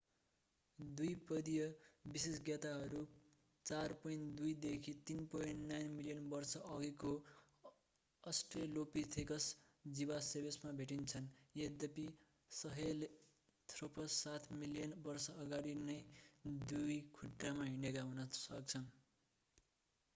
द्विपदीय विशेषज्ञताहरू 4.2-3.9 मिलियन वर्ष अघिको अस्ट्रेलोपिथेकस जीवावशेषमा भेटिन्छन् यद्यपि सहेलेन्थ्रोपस सात मिलियन वर्ष अगाडि नै दुई खुट्टामा हिँडेका हुन सक्दछन्।